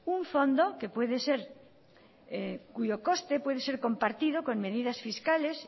un fondo cuyo costo puede ser compartido con medidas fiscales